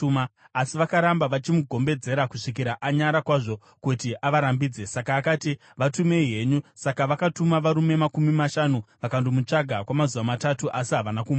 Asi vakaramba vachimugombedzera kusvikira anyara kwazvo kuti avarambidze. Saka akati, “Vatumei henyu.” Saka vakatuma varume makumi mashanu vakandomutsvaka kwamazuva matatu asi havana kumuwana.